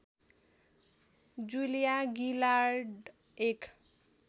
जुलिया गिलार्ड एक